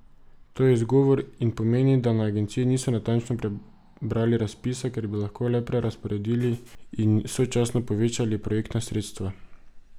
To je izgovor in pomeni, da na agenciji niso natančno prebrali razpisa, ker bi lahko le prerazporedili in sočasno povečali projektna sredstva.